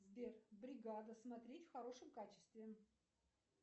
сбер бригада смотреть в хорошем качестве